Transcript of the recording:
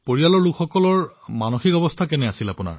পৰিয়ালৰ লোকৰ মনৰ স্থিতি কেনে আছিল